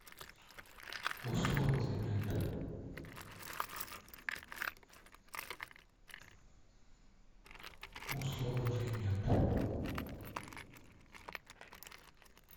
условный мент условный мент